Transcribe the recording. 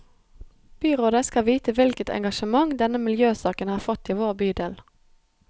Byrådet skal vite hvilket engasjement denne miljøsaken har fått i vår bydel.